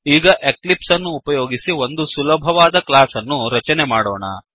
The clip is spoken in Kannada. ಈಗ ಎಕ್ಲಿಪ್ಸ್ ಅನ್ನು ಉಪಯೋಗಿಸಿ ಒಂದು ಸುಲಭವಾದ ಕ್ಲಾಸ್ ಅನ್ನು ರಚನೆ ಮಾಡೋಣ